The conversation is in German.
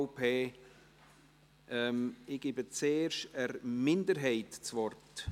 Ich gebe zuerst der Minderheit das Wort.